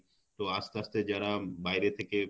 তো আস্তে আস্তে যারা বাইরে থেকে